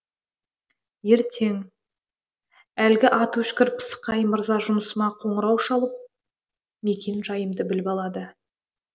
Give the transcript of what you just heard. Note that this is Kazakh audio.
ертең әлгі аты өшкір пысықай мырза жұмысыма қоңырау шалып мекен жайымды біліп алады